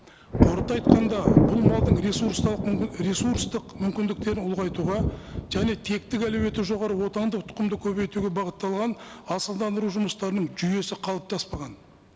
қорыта айтқанда бұл малдың ресурстық мүмкіндіктерін ұлғайтуға және тектік әлеуеті жоғары отандық тұқымды көбейтуге бағытталған асылдандыру жұмыстарының жүйесі қалыптаспаған